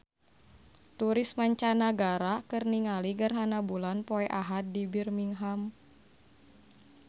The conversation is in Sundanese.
Turis mancanagara keur ningali gerhana bulan poe Ahad di Birmingham